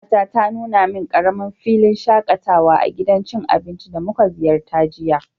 kanwata ta nuna min karamin filin shakatawa a gidan cin abinci da muka ziyarta jiya.